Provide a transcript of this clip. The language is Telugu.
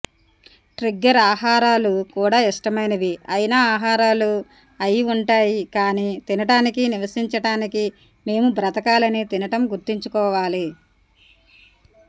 ట్రిగ్గర్ ఆహారాలు కూడా ఇష్టమైనవి అయిన ఆహారాలు అయి ఉంటాయి కాని తినడానికి నివసించటానికి మేము బ్రతకాలని తినటం గుర్తుంచుకోవాలి